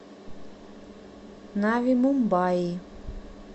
нави мумбаи